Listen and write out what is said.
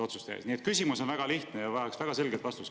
Nii et küsimus on väga lihtne ja see vajaks väga selget vastust.